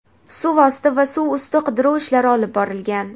suv osti va suv usti qidiruv ishlari olib borilgan.